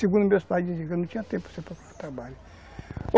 Segundo meus pais diziam que não tinha tempo para você procurar trabalho.